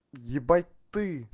ебать ты